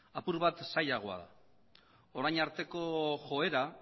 apur bat zailagoa da orain arteko joera